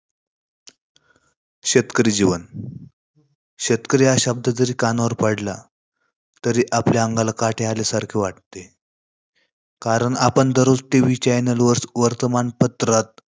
शेतकरी जीवन. शेतकरी हा शब्द जरी कानावर पडला, तरी आपल्या अंगाला काटे आल्यासारखे वाटते. कारण आपण दररोज tv channal वर वर्तमानपत्रात